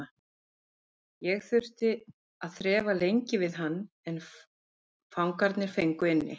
Ég þurfti að þrefa lengi við hann en fangarnir fengu inni.